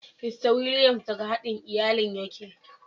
Mista Williams daga haɗin iyalin yake.